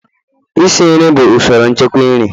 isi nri bụ usoro nchekwa nri